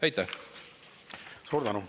Aitäh!